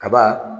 Kaba